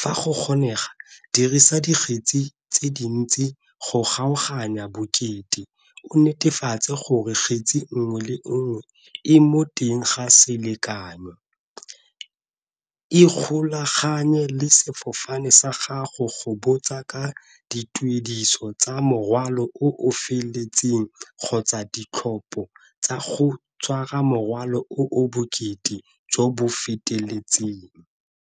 Fa go kgonega dirisa dikgetsi tse dintsi go kgaoganya bokete, o netefatse gore kgetsi nngwe le nngwe e mo teng ga selekanyo, ikgolaganye le sefofane sa gago go botsa ka dituediso tsa morwalo o feteletseng kgotsa ditlhopo tsa go tshwara morwalo o bokete jo bo feteletseng.